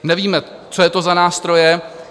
Nevíme, co je to za nástroje.